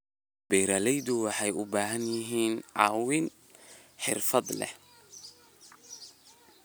Beeraleydu waxay u baahan yihiin caawimo xirfad leh.